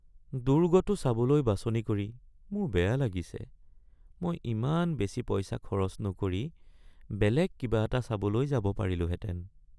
দুৰ্গটো চাবলৈ বাছনি কৰি মোৰ বেয়া লাগিছে মই ইমান বেছি পইচা খৰচ নকৰি বেলেগ কিবা এটা চাবলৈ যাব পাৰিলোঁহেঁতেন।